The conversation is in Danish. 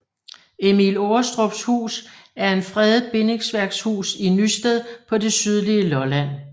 Emil Aarestrups Hus er en fredet bindingsværkshus i Nysted på det sydlige Lolland